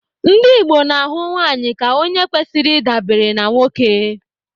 Ndị Igbo na-ahụ nwanyị ka onye kwesịrị ị dabere na nwoke.